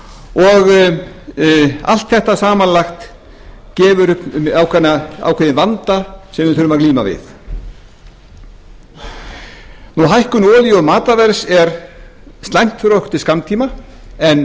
og allt þetta samanlagt gefur upp ákveðinn vanda sem við þurfum að glíma við hækkun olíu og matarverðs er slæmt fyrir okkur til skammtíma en